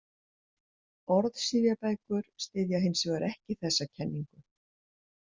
Orðsifjabækur styðja hins vegar ekki þessa kenningu.